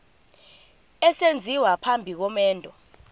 esenziwa phambi komendo